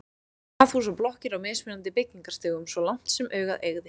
Raðhús og blokkir á mismunandi byggingarstigum svo langt sem augað eygði.